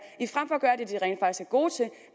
gode til